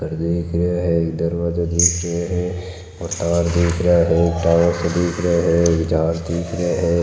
घर दिख रहा है दरवाजा दिख रहा है और तार दिख रहा है तारो सा दिख रहा है झार दिख रहा है।